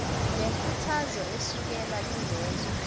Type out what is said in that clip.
lenkuthazo esukela kulezo